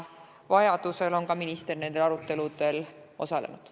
Vajaduse korral on ka minister nendel aruteludel osalenud.